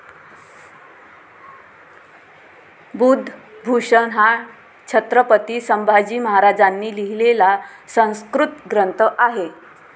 बुधभूषण हा छत्रपती संभाजी महाराजांनी लिहिलेला संस्कृत ग्रंथ आहे.